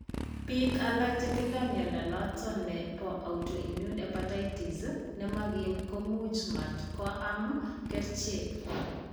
Biik alak che tindo mnyando noton ne po autoimmune hepatatis ne mokiim ko much matko am kerchek.